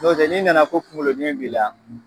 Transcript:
Nɔ n'i nana ko kuŋoloɲɛn b'i la